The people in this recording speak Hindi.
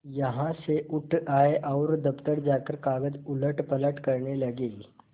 यहाँ से उठ आये और दफ्तर जाकर कागज उलटपलट करने लगे